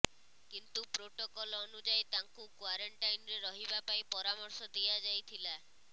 କିନ୍ତୁ ପ୍ରୋଟୋକଲ ଅନୁଯାୟୀ ତାଙ୍କୁ କ୍ୱାରେଣ୍ଟାଇନରେ ରହିବା ପାଇଁ ପରାମର୍ଶ ଦିଆଯାଇଥିଲା